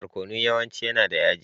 Barkonu yawanci yana da yaji.